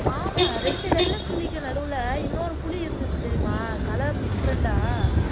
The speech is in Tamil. ஆமா ரெண்டு வெள்ளைப் புலிக்கு நடுவிலே இன்னொரு புலி தெரியுமா color different ஆ